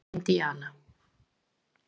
Indíana